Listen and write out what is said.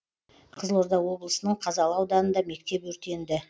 қызылорда облысының қазалы ауданында мектеп өртенді